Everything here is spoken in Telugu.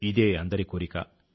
ఇదే అందరి కోరిక